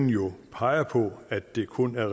jo peger på at det kun er